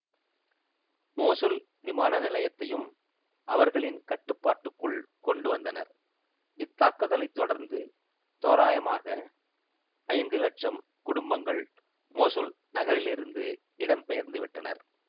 Mosul விமான நிலையத்தையும் அவர்களின் கட்டுப்பாட்டுக்குள் கொண்டு வந்தனர் இத்தாக்குதலைத் தொடர்ந்து தோரயமாக ஐந்து லட்சம் குடும்பங்கள் மோசுல் நகரிலிருந்து இடம் பெயர்ந்துவிட்டனர்